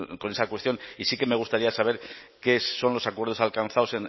con esa cuestión y sí que me gustaría saber qué son los acuerdos alcanzados